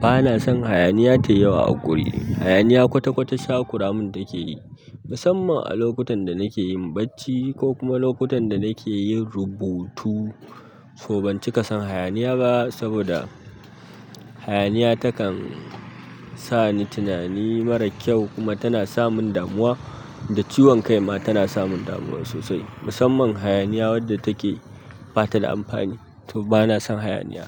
Bana san hayaniya tai yawa awuri. Hayaniya kwata-kwata ta kuramin take yi musamman a lokutan da nake yin bacci ko kuma lokutan da nake yin rubutu. So ban cika san hayaniya ba saboda hayaniya takan sani tunani mara kyau kuma tana samin damuwa da ciwon kai ma tana samun damuwa sosai. Musamman hayaniya wadda take ba ta da amfani, to bana son hayaniya.